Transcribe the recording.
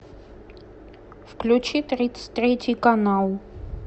включи тридцать третий канал